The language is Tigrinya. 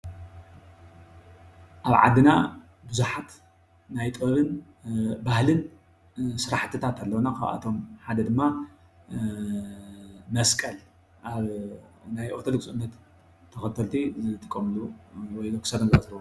ኣብ ዓድና ቡዙሓት ናይ ጥበብን ባህልን ስራሕትታት ኣለውና። ኻብኣቶም ሓደ ድማ መስቀል ኣብ ናይ ኦሮቶዶክስ እምነት ተኸተልቲ ዝጥቀምሉ ወይ ኣብ ክሳዶም ዝኣስርዎ ።